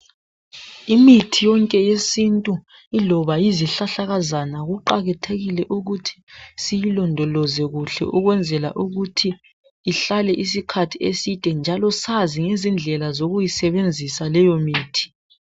Imithi yonke yesintu, iloba yizihlahlakazana, kuqakathekile ukuthi siyilondoloze kuhle ukwenzela ukuthi ihlale isikhathi eside, njalo sazi ngezindlela zokuyisebenzisa leyomithi..